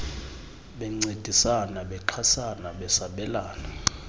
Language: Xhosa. bencedisana bexhasana besabelana